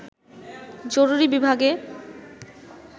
জরুরি বিভাগে